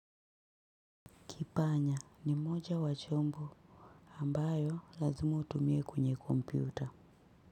Kipanya ni moja wa chombo ambayo lazima utumie kwenye kompyuta.